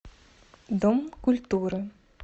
дом культуры